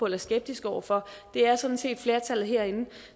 er skeptiske over for det er sådan set flertallet herinde